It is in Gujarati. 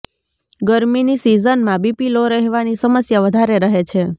ગરમીની સીઝનમાં બીપી લો રહેવાની સમસ્યા વધારે રહે છે